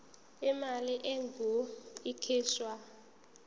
imali engur ikhishwa